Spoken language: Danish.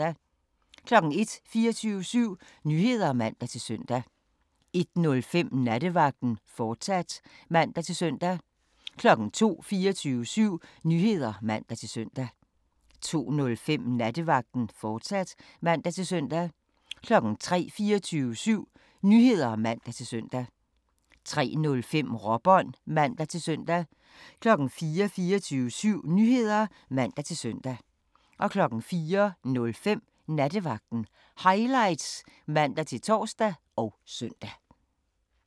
01:00: 24syv Nyheder (man-søn) 01:05: Nattevagten, fortsat (man-søn) 02:00: 24syv Nyheder (man-søn) 02:05: Nattevagten, fortsat (man-søn) 03:00: 24syv Nyheder (man-søn) 03:05: Råbånd (man-søn) 04:00: 24syv Nyheder (man-søn) 04:05: Nattevagten Highlights (man-tor og søn)